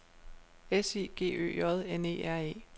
S I G Ø J N E R E